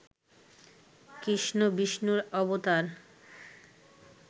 কৃষ্ণ বিষ্ণুর অবতার